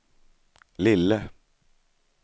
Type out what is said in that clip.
lille